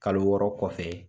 Kalo wɔɔrɔ kɔfɛ.